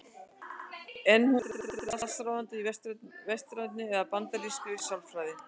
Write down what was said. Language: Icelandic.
En hún var aldrei allsráðandi í vestrænni eða bandarískri sálfræði.